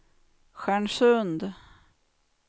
Stjärnsund